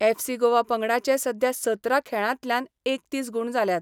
FC Goa पंगडाचे सध्या सतरा खेळांतल्यान एकतीस गूण जाल्यात.